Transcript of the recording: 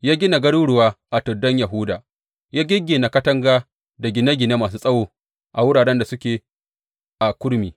Ya gina garuruwa a tuddan Yahuda, ya giggina katanga da gine gine masu tsawo a wuraren da suke a kurmi.